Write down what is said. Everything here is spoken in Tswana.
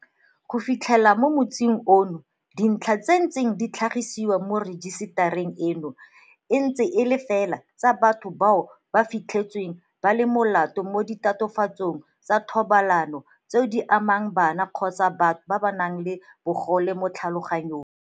Go fitlheng mo motsing ono, dintlha tse di neng di tlhagisiwa mo rejisetareng eno e ntse e le fela tsa batho bao go fitlhetsweng ba le molato mo ditatofatsong tsa thobalano tseo di amang bana kgotsa batho ba ba nang le bogole mo tlhaloganyong.